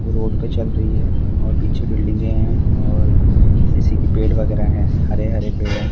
Road पे चल रही है और पीछे बिल्डिंगे है और सिसी की पेड़ वगैरा है हरे हरे पेड है।